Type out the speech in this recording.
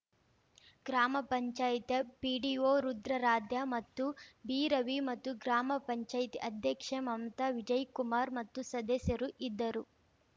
ಗ್ರಾಮ ಪಂಚಾಯತಿ ಪಿಡಿಒ ರುದ್ರಾರಾದ್ಯ ಮತ್ತು ಬಿರವಿ ಮತ್ತು ಗ್ರಾಮ ಪಂಚಾಯತಿ ಅಧ್ಯಕ್ಷೆ ಮಮತಾ ವಿಜಯಕುಮಾರ್‌ ಮತ್ತು ಸದಸ್ಯರು ಇದ್ದರು